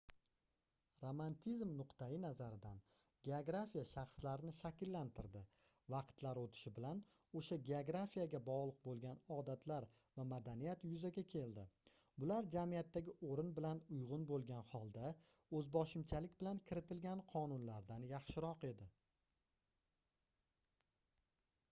romantizm nuqtai-nazaridan geografiya shaxslarni shakllantirdi vaqtlar oʻtishi bilan oʻsha geografiyaga bogʻliq boʻlgan odatlar va madaniyat yuzaga keldi bular jamiyatdagi oʻrin bilan uygʻun boʻlgan holda oʻzboshimchalik bilan kiritilgan qonunlardan yaxshiroq edi